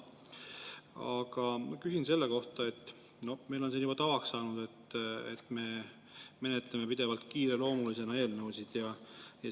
Aga küsin selle kohta, mis meil on siin juba tavaks saanud, et me menetleme eelnõusid pidevalt kiireloomulisena.